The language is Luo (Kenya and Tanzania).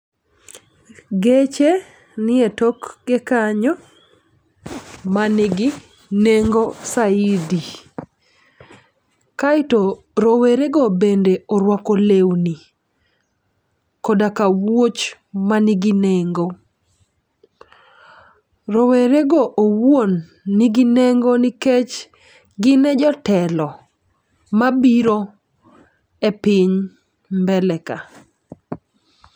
Geche ni e toke kanyo ma nigi nengo saidi. Kaeto rowere go bende orwako lewni koda ka wuoch manigi nengo. Rowere go owuon nigi nengo nikech gin e jotelo mabiro e piny mbele ka .